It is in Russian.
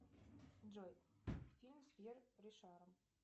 джой фильм с пьер ришаром